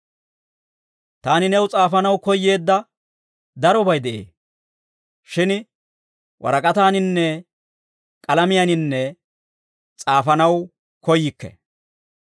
Taani new s'aafanaw koyyeedda darobay de'ee; shin warak'ataaninne k'alamiyaan s'aafanaw koyyikke.